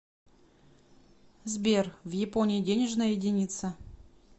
сбер в японии денежная единица